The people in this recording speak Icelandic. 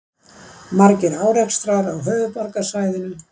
Margir árekstrar á höfuðborgarsvæðinu